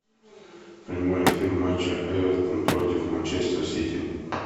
прямой эфир матча эвертон против манчестер сити